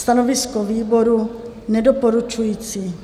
Stanovisko výboru: Nedoporučující.